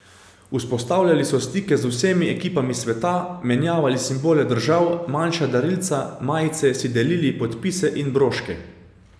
Vzpostavljali so stike z vsemi ekipami sveta, menjavali simbole držav, manjša darilca, majice, si delili podpise in broške.